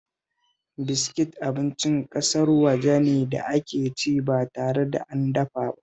Biskit abincin ƙasar waje ne da ake ci ba tare an dafa ba